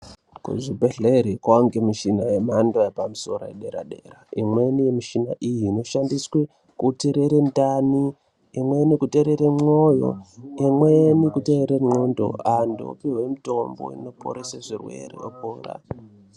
Kuzvibhedhlera kwane michina yemhando yepamusoro yedera -dera. Imweni yemushina iyi inoshandiswa kuterera ndani ,imweni kuterera moyo ,imweni kuterera qondo ,antu opiwa mutombo inoporesa zvirwere.